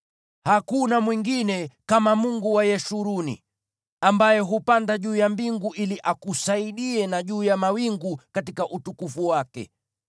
“Hakuna mwingine kama Mungu wa Yeshuruni, ambaye hupanda juu ya mbingu ili akusaidie, na juu ya mawingu katika utukufu wake.